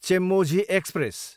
Chemmozhi express